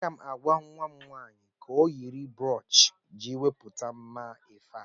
Aga m agwa nwa m nwaanyị ka o yiri broochi iji wepụta mma efe a.